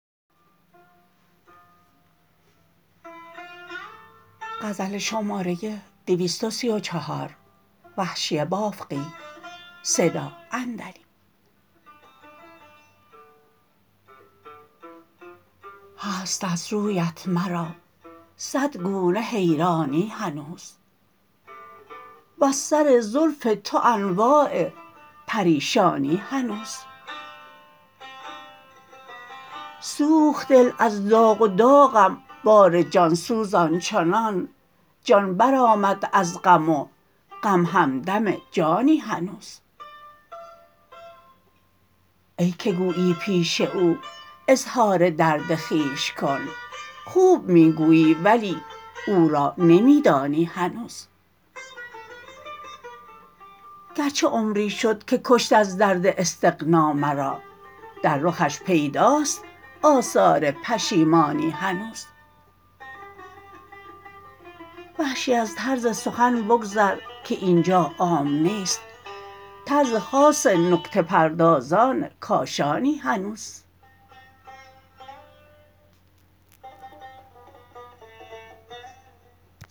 هست از رویت مرا سد گونه حیرانی هنوز وز سر زلف تو انواع پریشانی هنوز سوخت دل از داغ و داغم بار جانسوز آنچنان جان بر آمد از غم و غم همدم جانی هنوز ای که گویی پیش او اظهار درد خویش کن خوب می گویی ولی او را نمی دانی هنوز گرچه عمری شد که کشت از درد استغنا مرا در رخش پیداست آثار پشیمانی هنوز وحشی از طرز سخن بگذر که اینجا عام نیست طرز خاص نکته پردازان کاشانی هنوز